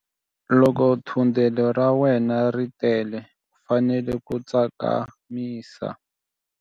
Loko thundelo ra wena ri tele u fanele ku tsakamisa.